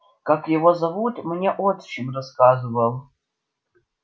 как-то его зовут мне отчим рассказывал